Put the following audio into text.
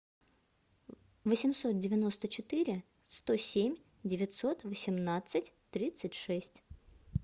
восемьсот девяносто четыре сто семь девятьсот восемнадцать тридцать шесть